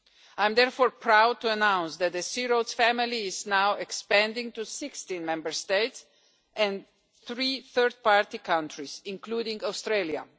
I am therefore proud to announce that the C Roads family is now expanding to 16 Member States and three third party countries, including Australia.